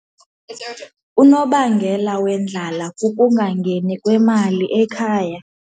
Unobangela wendlala kukungangeni kwemali ekhaya.